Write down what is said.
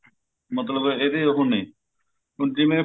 ਮਤਲਬ ਇਹਦੇ ਉਹ ਨੇ ਹੁਣ ਜਿਵੇਂ